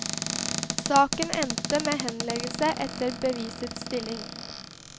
Saken endte med henleggelse etter bevisets stilling.